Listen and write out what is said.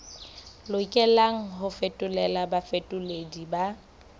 lokelang ho fetolelwa bafetoleding ba